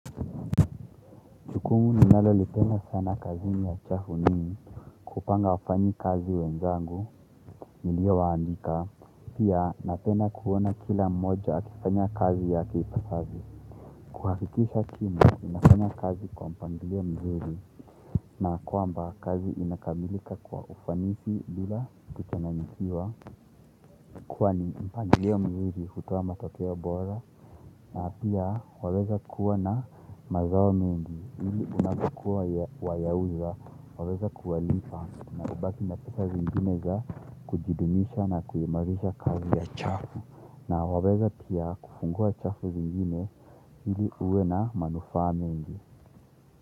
Jukumu ninalolipenda sana kazini ya chafu ni kupanga wafanyikazi wenzangu, niliowaandika, pia napenda kuona kila mmoja akifanya kazi yake ipaspavyo. Kuhakikisha timu inafanya kazi kwa mpangilio mzuri. Na kwamba kazi inakamilika kwa ufanisi bila kuchanganyikiwa kwani mpangilio mzuri hutoa matokeo bora na pia waweza kuwa na mazao mengi hili unavyokuwa wayauza waweza kuwalipa na ubaki na pesa zingine za kujidumisha na kuimarisha kazi ya chafu na waweza pia kufungua chafu zingine hili uwe na manufaa mengi.